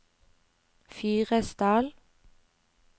Fyresdal